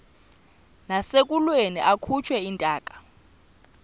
nasekulweni akhutshwe intaka